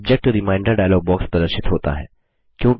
subject reminder dialog box प्रदर्शित होता है